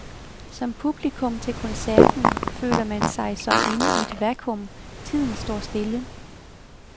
Som publikum til koncerten føler man sig som inde i et vaccuum, tiden står stille.